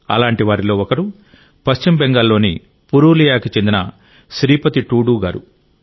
అలాంటి వారిలో ఒకరు పశ్చిమ బెంగాల్లోని పురూలియాకు చెందిన శ్రీపతి టూడూ గారు